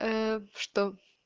ээ что